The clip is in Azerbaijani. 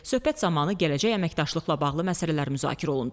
Söhbət zamanı gələcək əməkdaşlıqla bağlı məsələlər müzakirə olundu.